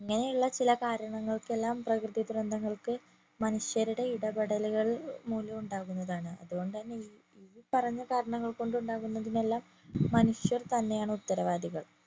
ഇങ്ങനെ ഉള്ളചില കാര്യങ്ങൾക്ക് എല്ലാം പ്രകൃതി ദുരന്തങ്ങൾക് മനുഷ്യരുടെ ഇടപെടലുകൾ മൂലം ഉണ്ടാകുന്നതാണ് അതുകോണ്ട് തന്നെ ഈ പറഞ്ഞ കാര്യങ്ങൾ കൊണ്ട് ഉണ്ടാകുന്നതെല്ലാം മനുഷ്യർ തന്നെ ആണ് ഉത്തരവാദികൾ